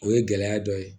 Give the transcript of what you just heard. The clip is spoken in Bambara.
O ye gɛlɛya dɔ ye